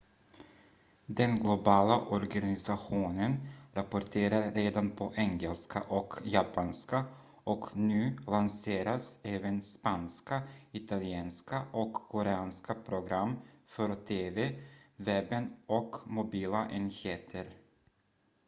den globala organisationen rapporterar redan på engelska och japanska och nu lanseras även spanska italienska och koreanska program för tv webben och mobila enheter